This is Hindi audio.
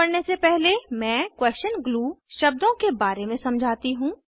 आगे बढ़ने से पहले मैं क्वेस्शन ग्लू शब्दों के बारे में समझाती हूँ